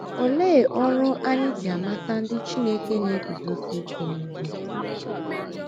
Olee ọrụ anyị ji amata ndị Chineke na - eguzosi ike n’ihe?